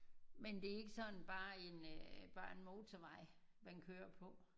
Men det er ikke sådan bare en øh bare en motorvej man kører på?